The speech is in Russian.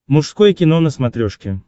мужское кино на смотрешке